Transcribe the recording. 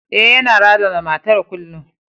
E, yana razana matan kullum.